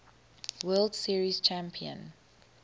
world series champion